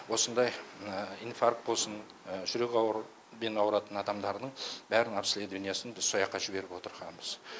осындай инфарк болсын жүрек аурубен ауыратын адамдардың бәрін обследованиясын біз сояққа жіберіп отырғанбыз